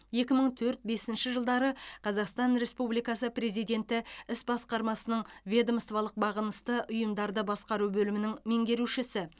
екі мың төрт бесінші жылдары қазақстан республикасы президенті іс басқармасының ведомстволық бағынысты ұйымдарды басқару бөлімінің меңгерушісі